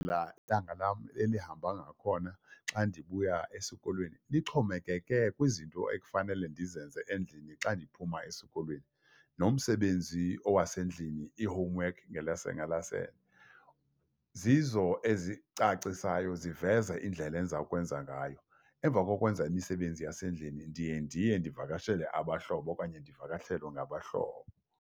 Laa ntanga lam elihamba ngakhona xa ndibuya esikolweni lixhomekeke kwizinto ekufanele ndizenze endlini xa ndiphuma esikolweni, nomsebenzi owasendlini iihomuwekhi ngelase, zizo ezicacisayo ziveza indlela endiza kwenza ngayo, emva kokwenza imisebenzi yasendlini ndiye ndiye ndivakashele abahlobo okanye ndivakashelwe ngabahlobo.